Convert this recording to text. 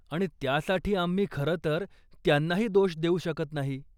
आणि त्यासाठी आम्ही खरं तर त्यांनाही दोष देऊ शकत नाही.